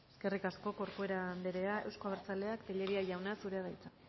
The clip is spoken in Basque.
eskerrik asko corcuera andrea euzko abertzaleak tellería jauna zurea da hitza